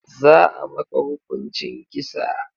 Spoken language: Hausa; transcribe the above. Za a maka hukuncin kisa.